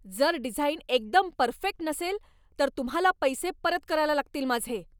जर डिझाईन एकदम परफेक्ट नसेल तर तुम्हाला पैसे परत करायला लागतील माझे.